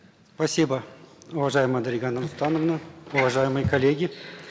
спасибо уважаемая дарига нурсултановна уважаемые коллеги